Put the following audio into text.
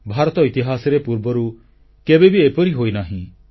ଭାରତ ଇତିହାସରେ ପୂର୍ବରୁ କେବେବି ଏପରି ହୋଇନାହିଁ